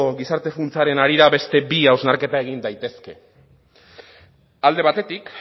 gizarte funtsaren harira beste bi hausnarketa egin daitezke alde batetik